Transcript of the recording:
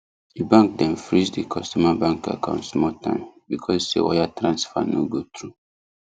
the bank dem freeze the customer bank account small time because say wire transfer no go through